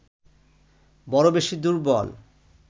বড় বেশি দুর্বল